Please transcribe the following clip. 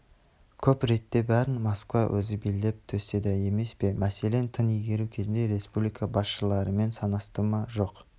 көп ретте бәрін москва өзі билеп төстеді емес пе мәселен тың игеру кезінде республика басшыларымен санасты ма жоқ